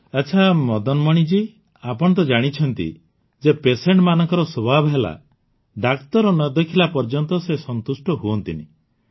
ଆଚ୍ଛା ମଦନମଣି ଜୀ ଆପଣ ତ ଜାଣିଛନ୍ତି ଯେ ପେସେଣ୍ଟ ମାନଙ୍କର ସ୍ୱଭାବ ହେଲା ଡାକ୍ତର ନ ଦେଖିଲା ପର୍ଯ୍ୟନ୍ତ ସେ ସନ୍ତୁଷ୍ଟ ହୁଅନ୍ତି ନାହିଁ